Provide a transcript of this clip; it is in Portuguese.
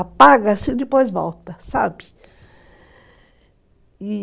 Apaga-se e depois volta, sabe?